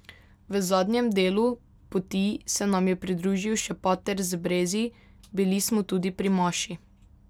V zadnjem delu poti se nam je pridružil še pater z Brezij, bili smo tudi pri maši.